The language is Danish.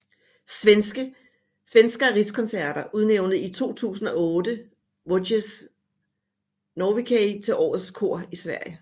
Svenska Rikskonserter udnævnte i 2008 Voces Nordicae til årets kor i Sverige